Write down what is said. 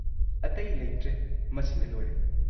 ꯑꯇꯩ ꯂꯩꯇ꯭ꯔꯦ ꯃꯁꯤꯅ ꯂꯣꯏꯔꯦ꯫